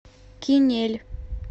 кинель